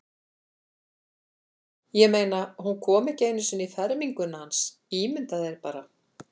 Ég meina, hún kom ekki einu sinni í ferminguna hans, ímyndaðu þér bara.